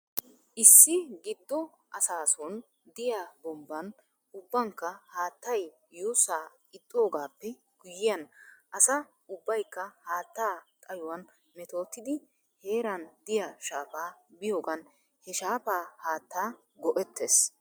Issi giddo asaason diyaa bombban ubbankka haattay yuusaa ixxidoogaappe guyyiyan asa ubbaykka haattaa xayowan metootidi heeran diyaa shaafaa biyoogan he shaafaa haattaa gu'ettis.